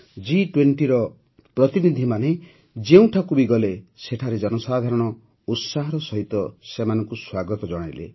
ଜି୨୦ର ପ୍ରତିନିଧିମାନେ ଯେଉଁଠାକୁ ବି ଗଲେ ସେଠାରେ ଜନସାଧାରଣ ଉତ୍ସାହର ସହିତ ସେମାନଙ୍କୁ ସ୍ୱାଗତ ଜଣାଇଲେ